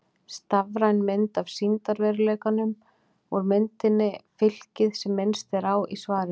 Stafræn mynd af sýndarveruleikanum úr myndinni Fylkið sem minnst er á í svarinu.